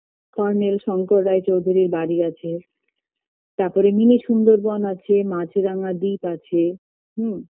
colonel Sankar রায়ে চৌধুরীর বারি আছে তারপরে mini সুন্দরবন আছে মাছরাঙ্গা দ্বীপ আছে হুম